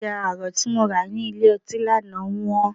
Ẹja àrọ̀ tí mo rà ní ilé ọtí lánàá wọ́n.